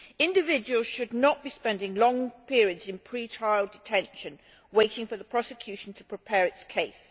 Individuals should not be spending long periods in pre trial detention waiting for the prosecution to prepare its case.